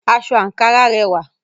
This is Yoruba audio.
Ankara fabric is beautiful